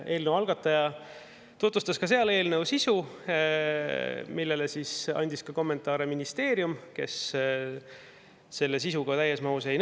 Eelnõu algataja tutvustas ka seal eelnõu sisu, mille kohta andis kommentaare ka ministeeriumi.